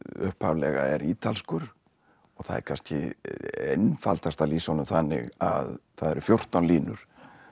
upphaflega er ítalskur og það er kannski einfaldast að lýsa honum þannig að það eru fjórtán línur